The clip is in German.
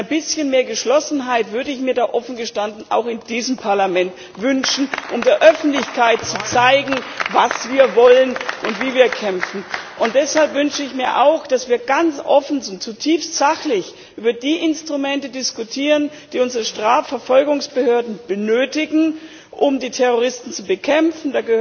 Ein bisschen mehr Geschlossenheit würde ich mir da offen gestanden auch in diesem Parlament wünschen, um der Öffentlichkeit zu zeigen, was wir wollen und wie wir kämpfen. Deshalb wünsche ich mir auch, dass wir ganz offen und zutiefst sachlich über die Instrumente diskutieren, die unsere Strafverfolgungsbehörden benötigen, um die Terroristen zu bekämpfen.